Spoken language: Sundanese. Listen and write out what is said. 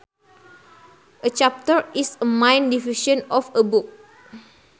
A chapter is a main division of a book